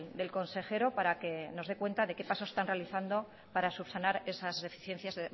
del consejero para que nos dé cuenta de qué pasos están realizando para subsanar esas deficiencias